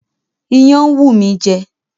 Iyán ń wù mí jẹ